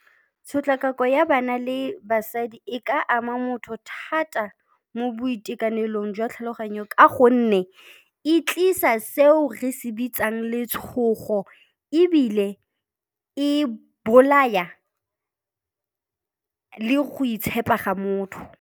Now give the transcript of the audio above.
Tshotlakako ya bana le basadi e ka ama motho thata mo boitekanelong jwa tlhaloganyo ka gonne e tlisa seo re se bitsang letshogo ebile e bolaya le go itshepa ga motho.